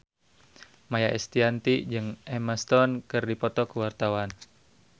Maia Estianty jeung Emma Stone keur dipoto ku wartawan